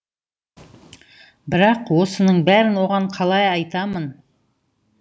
бірақ осының бәрін оған қалай айтамын